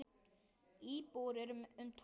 Íbúar eru um tólf þúsund.